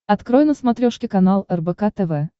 открой на смотрешке канал рбк тв